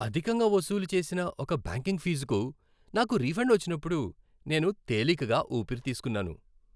అధికంగా వసూలు చేసిన ఒక బ్యాంకింగ్ ఫీజుకు నాకు రిఫండ్ వచ్చినప్పుడు నేను తేలికగా ఊపిరి తీస్కున్నాను.